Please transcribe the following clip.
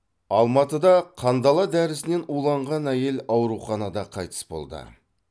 алматыда қандала дәрісінен уланған әйел ауруханада қайтыс болды